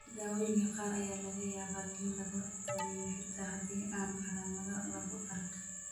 Daawooyinka qaar ayaa laga yaabaa in lagu taliyo xitaa haddii aan calaamado lagu arag.